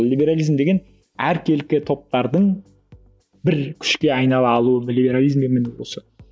либерализм деген әркелкі топтардың бір күшке айнала алуы либерализм міне осы